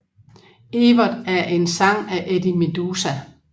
Evert er en sang af Eddie Meduza